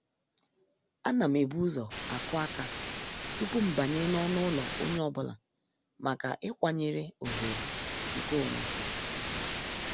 A nam ebu ụzọ akụ aka tupu mbanye n'ọnụ ụlọ onye ọ bụla maka ịkwanyere oghere nke onwe.